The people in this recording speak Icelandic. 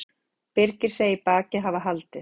Birgir segir bakið hafa haldið